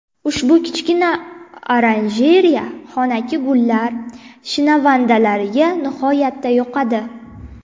Ushbu kichkina oranjereya xonaki gullar shinavandalariga nihoyatda yoqadi .